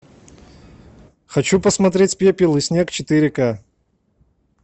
хочу посмотреть пепел и снег четыре ка